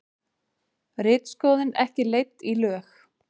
Ritskoðun ekki leidd í lög